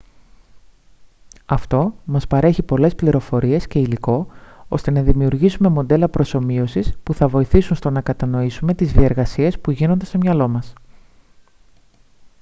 αυτό μας παρέχει πολλές πληροφορίες και υλικό ώστε να δημιουργήσουμε μοντέλα προσομοίωσης που θα βοηθήσουν στο να κατανοήσουμε τις διεργασίες που γίνονται στο μυαλό μας